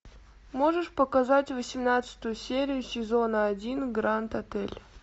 можешь показать восемнадцатую серию сезона один гранд отель